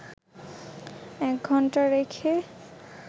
১ ঘণ্টা রেখে